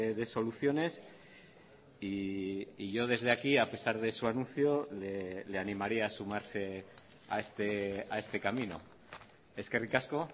de soluciones y yo desde aquí a pesar de su anuncio le animaría a sumarse a este camino eskerrik asko